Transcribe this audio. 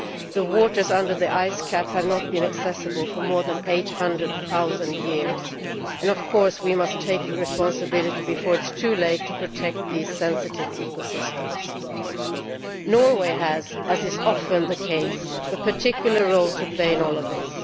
The waters under the ice cap have not been accessible for more than 800000 years, and of course we must take the responsibility before it is too late to protect these sensitive ecosystems. As is often the case, Norway has a particular role to play in all of this.